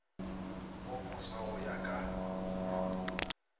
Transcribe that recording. o moswa go ya ka